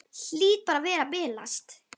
Hlýt bara að vera að bilast.